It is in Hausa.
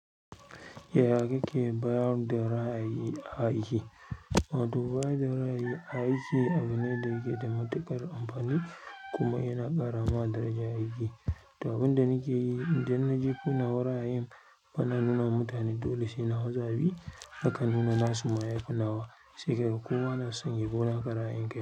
Yaya kake bayar da ra'ayi a aiki? Wato ba da ra'ayi a aiki abu ne da yake da matuƙar amfani kuma yana ƙara ma daraja a aiki. Toh abin da nake yi idan najefo nawa ra'ayin bana nuna ma mutane dole sai nawa za a bi, nakan nuna nasu ma yafi nawa, sai kaga kowa nason yabi naka ra'ayin.